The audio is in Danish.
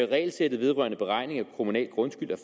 regelsættet vedrørende beregning af kommunal grundskyld er